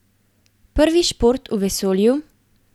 Prvi šport v vesolju?